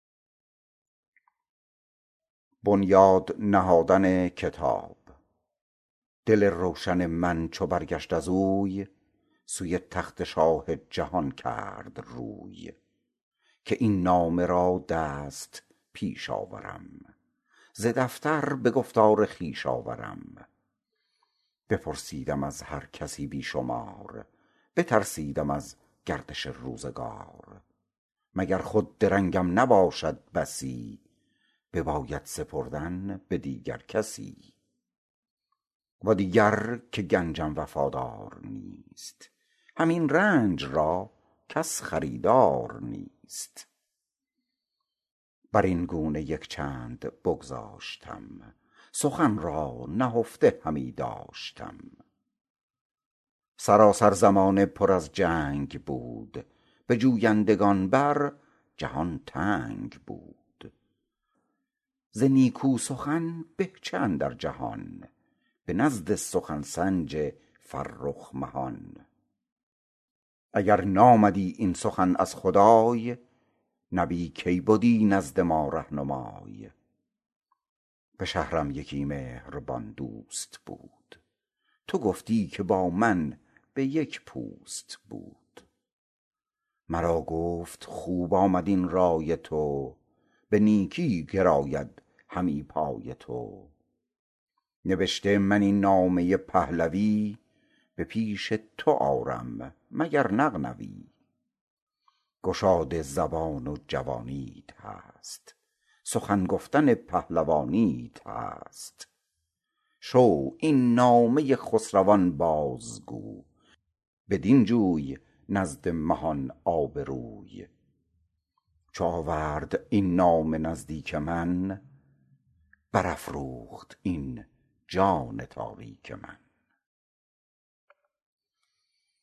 دل روشن من چو برگشت از اوی سوی تخت شاه جهان کرد روی که این نامه را دست پیش آورم ز دفتر به گفتار خویش آورم بپرسیدم از هر کسی بی شمار بترسیدم از گردش روزگار مگر خود درنگم نباشد بسی بباید سپردن به دیگر کسی و دیگر که گنجم وفادار نیست همین رنج را کس خریدار نیست بر این گونه یک چند بگذاشتم سخن را نهفته همی داشتم سراسر زمانه پر از جنگ بود به جویندگان بر جهان تنگ بود ز نیکو سخن به چه اندر جهان به نزد سخن سنج فرخ مهان اگر نامدی این سخن از خدای نبی کی بدی نزد ما رهنمای به شهرم یکی مهربان دوست بود تو گفتی که با من به یک پوست بود مرا گفت خوب آمد این رای تو به نیکی گراید همی پای تو نبشته من این نامه پهلوی به پیش تو آرم مگر نغنوی گشاده زبان و جوانیت هست سخن گفتن پهلوانیت هست شو این نامه خسروان باز گوی بدین جوی نزد مهان آبروی چو آورد این نامه نزدیک من بر افروخت این جان تاریک من